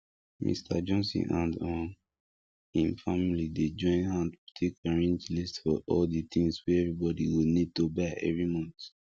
mister johnson and um im family dey join hand take arrange list for all di tins wey everybody go need to buy every month